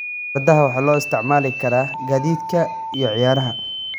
Fardaha waxaa loo isticmaali karaa gaadiidka iyo ciyaaraha.